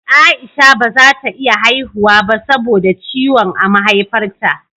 Aisha bazata iya haihuwa ba sabo da ciwon a Maihaifar ta